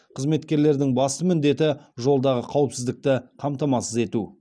қызметкерлердің басты міндеті жолдағы қауіпсіздікті қамтамасыз ету